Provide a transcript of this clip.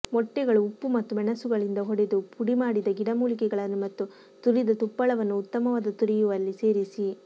ಮೊಟ್ಟೆಗಳು ಉಪ್ಪು ಮತ್ತು ಮೆಣಸುಗಳಿಂದ ಹೊಡೆದು ಪುಡಿಮಾಡಿದ ಗಿಡಮೂಲಿಕೆಗಳನ್ನು ಮತ್ತು ತುರಿದ ತುಪ್ಪಳವನ್ನು ಉತ್ತಮವಾದ ತುರಿಯುವಲ್ಲಿ ಸೇರಿಸಿ